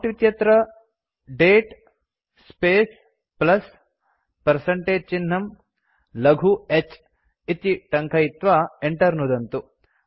prompt इत्यत्र दते space plus percentage चिह्नं लघु h इति टङ्कयित्वा enter नुदन्तु